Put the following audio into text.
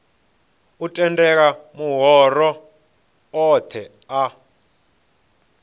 u tendela mahoro othe a